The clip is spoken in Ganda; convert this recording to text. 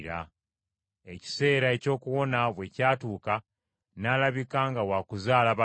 Ekiseera eky’okuwona bwe kyatuuka n’alabika nga wakuzaala balongo.